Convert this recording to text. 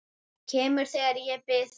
Kemur þegar ég bið hann.